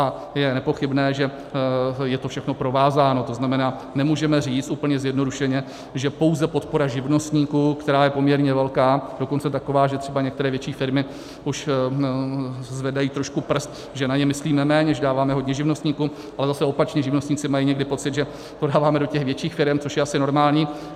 A je nepochybné, že je to všechno provázáno, to znamená, nemůžeme říct úplně zjednodušeně, že pouze podpora živnostníků, která je poměrně velká, dokonce taková, že třeba některé větší firmy už zvedají trošku prst, že na ně myslíme méně, že dáváme hodně živnostníkům, ale zase opačně, živnostníci mají někdy pocit, že to dáváme do těch větších firem, což je asi normální.